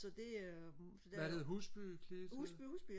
så det øh Husby Husby ja